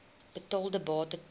betaalde bate ter